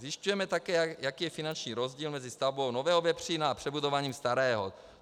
Zjišťujeme také, jaký je finanční rozdíl mezi stavbou nového vepřína a přebudováním starého.